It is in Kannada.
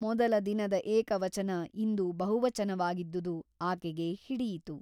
ಮೊದಲ ದಿನದ ಏಕವಚನ ಇಂದು ಬಹುವಚನವಾಗಿದ್ದುದು ಆಕೆಗೆ ಹಿಡಿಯಿತು.